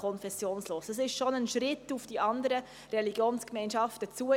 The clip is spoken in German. Das ist bereits ein Schritt auf die anderen Religionsgemeinschaften zu.